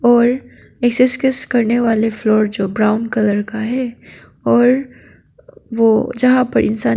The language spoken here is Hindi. और करने वाले फ्लोर जो ब्राउन कलर का है और वो जहां पर इंसान--